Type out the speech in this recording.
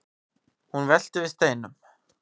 hún veltir við steinum